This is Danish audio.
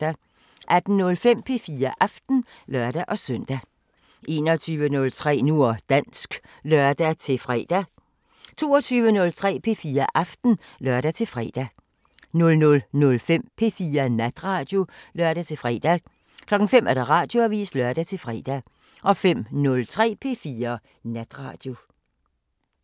18:05: P4 Aften (lør-søn) 21:03: Nu og dansk (lør-fre) 22:03: P4 Aften (lør-fre) 00:05: P4 Natradio (lør-fre) 05:00: Radioavisen (lør-fre) 05:03: P4 Natradio